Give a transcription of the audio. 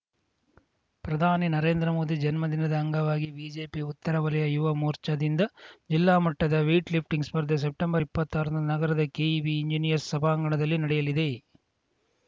ಪ್ರಧಾನಿ ನರೇಂದ್ರ ಮೋದಿ ಜನ್ಮ ದಿನದ ಅಂಗವಾಗಿ ಬಿಜೆಪಿ ಉತ್ತರ ವಲಯ ಯುವ ಮೋರ್ಚಾದಿಂದ ಜಿಲ್ಲಾ ಮಟ್ಟದ ವೇಟ್‌ ಲಿಫ್ಟಿಂಗ್‌ ಸ್ಪರ್ಧೆ ಸೆಪ್ಟೆಂಬರ್ಇಪ್ಪತ್ತಾರರಂದು ನಗರದ ಕೆಇಬಿ ಎಂಜಿನಿಯರ್ಸ್ ಸಭಾಂಗಣದಲ್ಲಿ ನಡೆಯಲಿದೆ